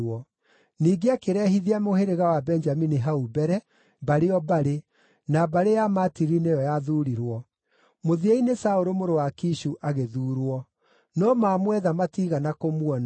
Ningĩ akĩrehithia mũhĩrĩga wa Benjamini hau mbere, mbarĩ o mbarĩ, na mbarĩ ya Matiri nĩyo yathuurirwo. Mũthia-inĩ Saũlũ mũrũ wa Kishu agĩthuurwo. No maamwetha matiigana kũmuona.